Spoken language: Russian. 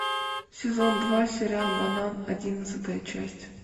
сезон два сериал банан одиннадцатая часть